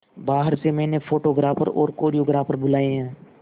बाहर से मैंने फोटोग्राफर और कोरियोग्राफर बुलाये है